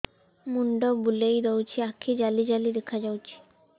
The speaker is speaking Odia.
ମୁଣ୍ଡ ବୁଲେଇ ଦଉଚି ଆଖି ଜାଲି ଜାଲି ଦେଖା ଯାଉଚି